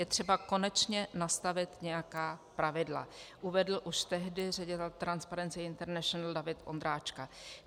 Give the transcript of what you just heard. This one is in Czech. Je třeba konečně nastavit nějaká pravidla," uvedl už tehdy ředitel Transparency International David Ondráčka.